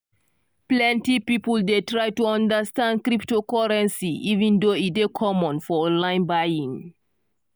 plenty people dey try to understand cryptocurrency even though e dey common for online buying.